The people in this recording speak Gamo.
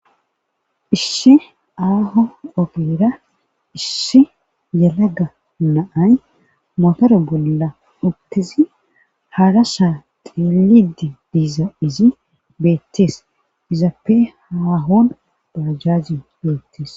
issi aaho ogeera issi yalaga naay motore bolla utizi haarasa xilidi diiza izi beettees izappe haahon baajjazi beettees